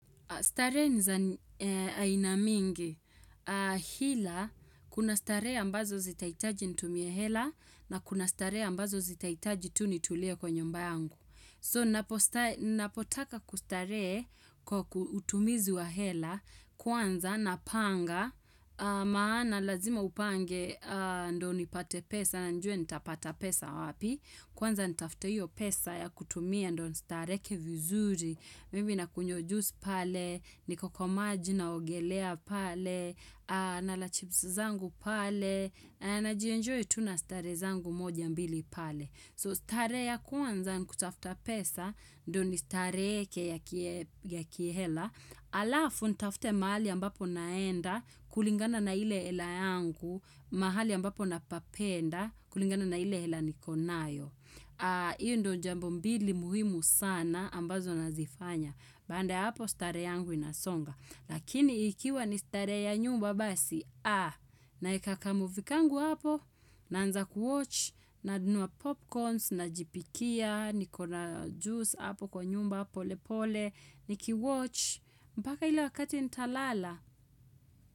Starehe ni za aina mingi. Hila, kuna starehe ambazo zi ahitaji nitumie hela na kuna starehe ambazo zitahitaji tu nitulie kwa nyumba yangu. So, napotaka kustarehe kwa utumizi wa hela kwanza napanga maana lazima upange ndio nipate pesa na nijue nitapata pesa wapi. Kwanza nitafute hiyo pesa ya kutumia ndio nistareheke vizuri, mimi nakunywa juice pale, niko kwa maji naogelea pale, na la chips zangu pale, najienjoy tu na starehe zangu moja mbili pale. So starehe ya kwanza nikutafuta pesa, ndio ni stareheke ya kihela, alafu nitafute mahali ambapo naenda, kulingana na ile hela yangu, mahali ambapo napapenda, kulingana na ile hela niko nayo. Iyo ndio jambo mbili muhimu sana ambazo nazifanya. Baada ya hapo starehe yangu inasonga, lakini ikiwa ni starehe ya nyumba basi, aa, naeka kamovie kangu hapo, naanza kuwatch, nanunua popcorns, najipikia, nikona juice hapo kwa nyumba polepole, niki watch, mpaka ile wakati nitalala.